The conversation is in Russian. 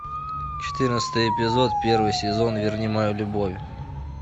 четырнадцатый эпизод первый сезон верни мою любовь